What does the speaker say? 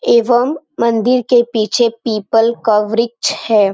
एवं मंदिर के पीछे पीपल का वृक्ष है।